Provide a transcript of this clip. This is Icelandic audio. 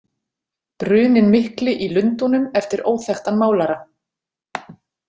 Bruninn mikli í Lundúnum eftir óþekktan málara.